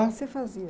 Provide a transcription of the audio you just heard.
você fazia?